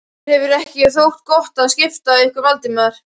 Mér hefur alltaf þótt gott að skipta við ykkur Valdimar.